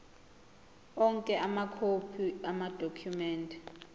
onke amakhophi amadokhumende